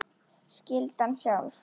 Skyldan sjálf